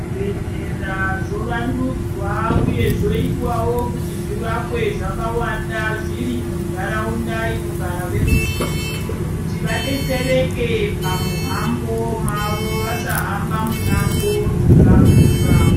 Zvi bhedhlera zvo wandudzwa uye zvoitwawo kuti zvi vakwe zvaka wanda zviri mu ndaraunda inogara veru zhinji kuti vadetsereke pa muhambo mavo vasa hamba mi mango dzaka kura.